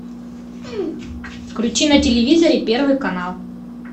включи на телевизоре первый канал